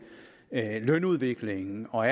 lønudviklingen og